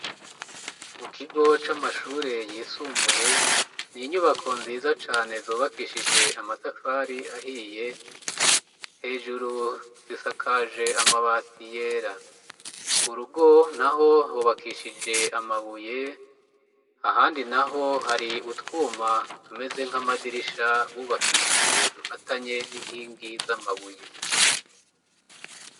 Mu kigo c'amashure yisumbuye, ni inyubako nziza cane zubakishije amatafari ahiye, hejuru zisakaje amabati yera, kurugo naho hubakishije amabuye ,ahandi naho hari utwuma tumeze nk'amadirisha bubakishije dufatanye n'inkingi z'amabuye.